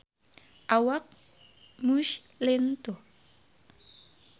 Awak Muse lintuh